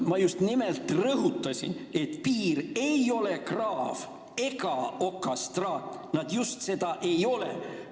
Ma just nimelt rõhutasin, et piir ei ole kraav ega okastraat – just seda see ei ole!